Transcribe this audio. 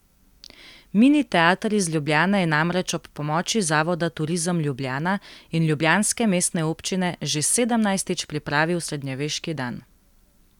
Mini teater iz Ljubljane je namreč ob pomoči zavoda Turizem Ljubljana in ljubljanske mestne občine že sedemnajstič pripravil Srednjeveški dan.